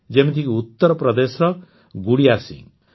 ଯେମିତିକି ଉତ୍ତରପ୍ରଦେଶର ଗୁଡ଼ିୟା ସିଂହ